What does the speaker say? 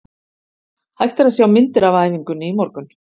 Hægt er að sjá myndir af æfingunni í morgun.